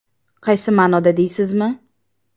Qaysi ma’noda deysizmi?